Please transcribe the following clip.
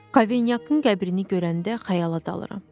Kavanyakın qəbrini görəndə xəyala dalıram.